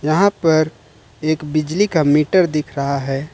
यहां पर एक बिजली का मीटर दिख रहा है।